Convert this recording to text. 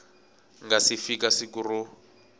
nga si fika siku ro